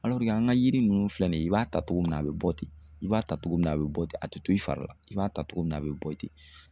an ka yiri ninnu filɛ nin ye i b'a ta cogo min na a be bɔ ten i b'a ta cogo min na a be bɔ ten a te to i fari la i b'a ta cogo min na a be bɔ ten